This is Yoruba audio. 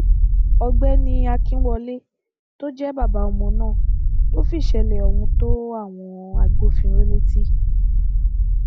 ọgbẹni akínwọlé tó jẹ bàbá ọmọ náà ló fìṣẹlẹ ohun tó àwọn agbófinró létí